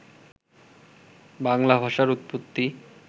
বাংলা ভাষার উৎপত্তি